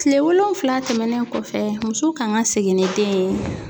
Kile wolonfila tɛmɛnen kɔfɛ muso kan ka segin ni den ye.